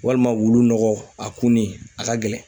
Walima wulu nɔgɔ, a kunni , a ka gɛlɛn.